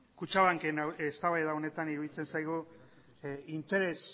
kutxabanken eztabaida honetan iruditzen zaigu interes